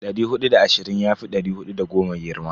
Dari hudu da ashirin yafi dari hudu da goma girma.